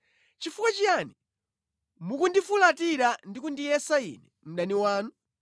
Chifukwa chiyani mukundifulatira ndi kundiyesa ine mdani wanu?